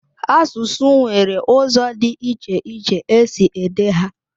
Asụsụ nwere ụzọ dị iche iche e si ede ha.